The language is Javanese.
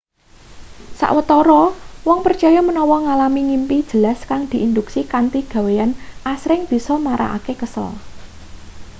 sawetara wong percaya menawa ngalami ngimpi jelas kang diinduksi kanthi gaweyan asring bisa marakake kesel